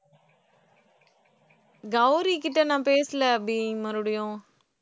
கௌரி கிட்ட நான் பேசல அபி மறுபடியும்